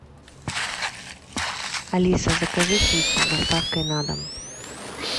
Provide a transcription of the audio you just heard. алиса закажи пиццу с доставкой на дом